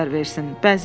verər versin.